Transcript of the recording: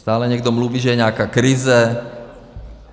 Stále někdo mluví, že je nějaká krize.